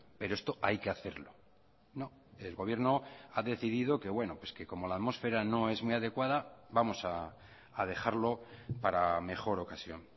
pero esto hay que hacerlo no el gobierno ha decidido que bueno que como la atmósfera no es muy adecuada vamos a dejarlo para mejor ocasión